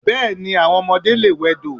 Bẹ́ẹ̀ni, àwọn ọmọdé lè wẹdò.